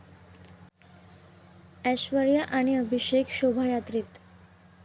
ऐश्वर्या आणि अभिषेक शोभायात्रेत